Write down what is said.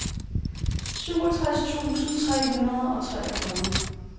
syvogtres tusind tre hundrede og treogfyrre